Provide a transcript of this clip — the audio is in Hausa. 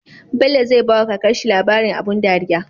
Bello zai bawa kakar shi labarin abun dariya